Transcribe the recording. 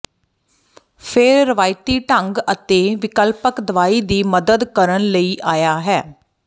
ਫਿਰ ਰਵਾਇਤੀ ਢੰਗ ਅਤੇ ਵਿਕਲਪਕ ਦਵਾਈ ਦੀ ਮਦਦ ਕਰਨ ਲਈ ਆਇਆ ਹੈ